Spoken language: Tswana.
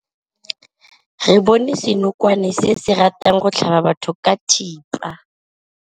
Re bone senokwane se se ratang go tlhaba batho ka thipa.